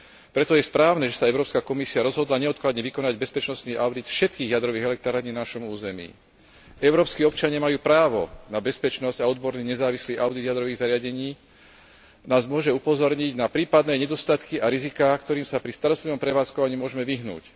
Preto je správne, že sa Európska komisia rozhodla neodkladne vykonať bezpečnostný audit všetkých jadrových elektrární na našom území. Európski občania majú právo na bezpečnosť a odborný nezávislý audit jadrových zariadení nás môže upozorniť na prípadné nedostatky a riziká, ktorým sa pri starostlivom prevádzkovaní môžme vyhnúť.